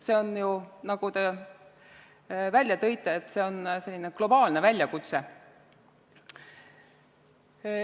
See on ju, nagu te välja tõite, globaalne väljakutse.